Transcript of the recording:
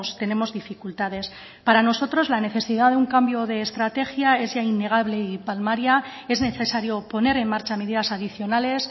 tenemos dificultades para nosotros la necesidad de un cambio de estrategia es ya innegable y palmaria es necesario poner en marcha medidas adicionales